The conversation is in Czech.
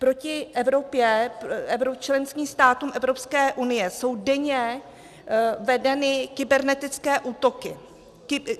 Proti členským státům Evropské unie jsou denně vedeny kybernetické útoky.